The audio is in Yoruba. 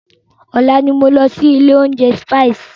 Ọ̀la ni máa lọ sí ilé oúnjẹ Spices.